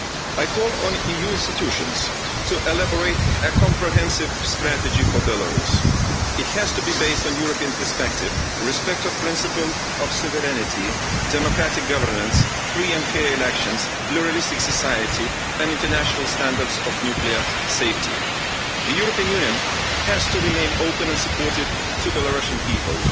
I call on the EU institutions to elaborate a comprehensive strategy for Belarus. It has to be based on a European perspective, respect for the principle of sovereignty, democratic governance, free and fair elections, a pluralistic society, and international standards of nuclear safety. The European Union has to remain open and supportive to the Belarusian people.